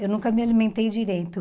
Eu nunca me alimentei direito.